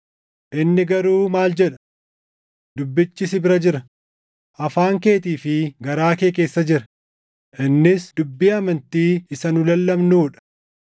Inni garuu maal jedha? “Dubbichi si bira jira; afaan keetii fi garaa kee keessa jira;” + 10:8 \+xt KeD 30:14\+xt* innis dubbii amantii isa nu lallabnuu dha;